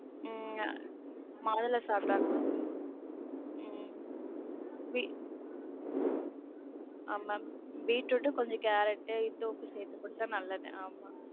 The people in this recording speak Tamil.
உம் மாதுளை சாப்பிடுவாங்க. உம் வி அவங்க பீட்ரூட்டு, கொஞ்சம் கேரட்டு, இந்துப்பு சேத்து குடுத்தா நல்லது ஆமா.